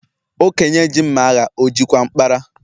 Okenye ji mma agha o jikwa mkpara?